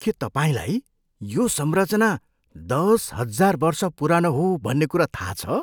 के तपाईँलाई यो संरचना दस हजार वर्ष पुरानो हो भन्ने कुरा थाहा छ?